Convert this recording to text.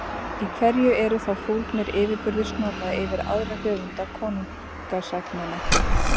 Í hverju eru þá fólgnir yfirburðir Snorra yfir aðra höfunda konungasagna?